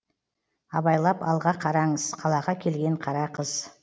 абайлап алға қараңыз қалаға келген қара қыз